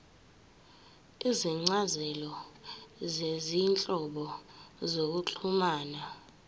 izincazelo zezinhlobo zokuxhumana